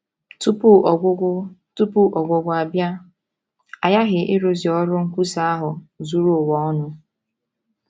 Tupu ọgwụgwụ Tupu ọgwụgwụ abịa, a ghaghị ịrụzu ọrụ nkwusa ahụ zuru ụwa ọnụ.